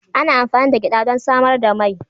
Ana amfani da gyada don samar da mai.